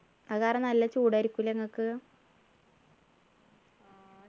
അത് കാരണം നല്ല ചൂടായിരിക്കൂലേ നിങ്ങക്ക്